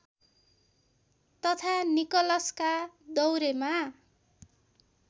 तथा निकलसका दौरेमा